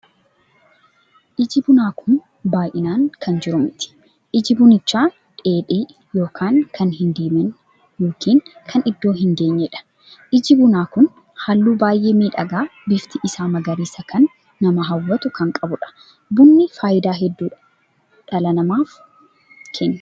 Iji bunaa kun baay'inaan kan jiru miti. iji bunicha dheedhii ykn kan hin diimanni ykn kan iddoo hin geenyeedha. iji bunaa kun halluu baay'ee miidhagaa bifti isaa magariisa kan nama hawwatu kan qabuudha. bunni faayidaa hedduu dhala namaatiif Kenna.